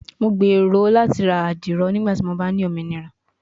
Mo gbero lati ra adiro nigbati mo ba ni ominira